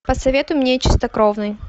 посоветуй мне чистокровный